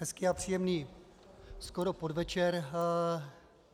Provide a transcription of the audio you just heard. Hezký a příjemný skoro podvečer.